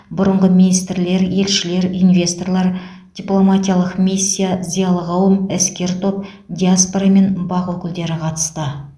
бұрынғы министрлер елшілер инвесторлар дипломатиялық миссия зиялы қауым іскер топ диаспора мен бақ өкілдері қатысты